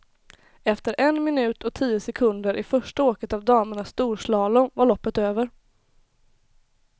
Efter en minut och tio sekunder i första åket av damernas storslalom var loppet över.